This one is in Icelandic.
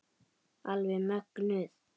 Alveg mögnuð.